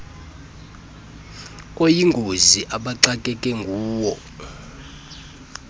oyingozi abaxakeke nguwo